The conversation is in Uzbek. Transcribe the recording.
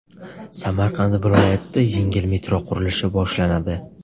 Samarqand viloyatida yengil metro qurilishi boshlanadi.